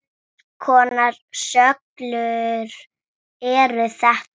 Hvers konar skjöl eru þetta?